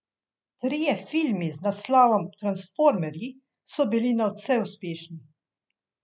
Trije filmi z naslovom Transformerji so bili nadvse uspešni.